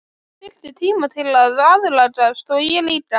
Hún þyrfti tíma til að aðlagast og ég líka.